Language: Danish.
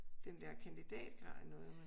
Den dér kandidatgrad i